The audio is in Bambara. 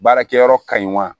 Baarakɛyɔrɔ ka ɲi wa